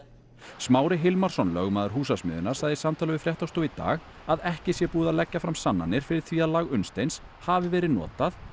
Smári Hilmarsson lögmaður Húsasmiðjunnar sagði í samtali við fréttastofu í dag að ekki sé búið að leggja fram sannanir fyrir því að lag Unnsteins hafi verið notað